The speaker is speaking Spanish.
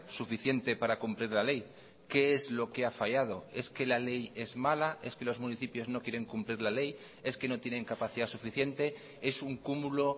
suficiente para cumplir la ley qué es lo que ha fallado es que la ley es mala es que los municipios no quieren cumplir la ley es que no tienen capacidad suficiente es un cúmulo